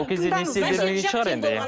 ол кезде несие де бермейтін шығар енді